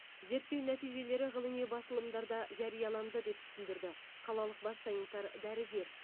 зерттеу нәтижелері ғылыми басылымдарда жарияланды деп түсіндірді қалалық бас санитар дәрігер